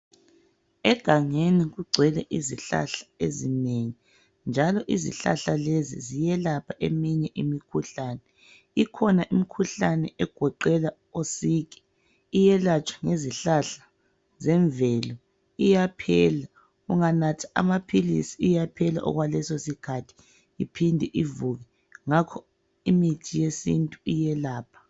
Egangeni kugcwele izihlahla ezinengi njalo izihlahla lezi ziyelapha eminye imikhuhlane. Ikhona imikhuhlane egoqela osiki iyelatshwa ngezihlahla zemvelo iyaphela, unganatha amaphilisi iyaphela okwalesosikhathi iphinde ivuke ngakho imithi yesintu iyelapha.